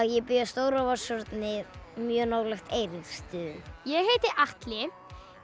ég bý á Stóra Vatnshorni mjög nálægt Eiríksstöðum ég heiti Atli